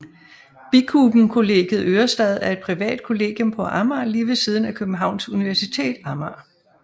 Bikuben Kollegiet Ørestad er et privat kollegium på Amager lige ved siden af Københavns Universitet Amager